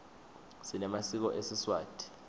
sinemasiko esiswati